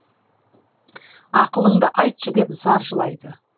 ақылыңды айтшы деп зар жылайды